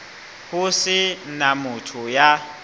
ho se na motho ya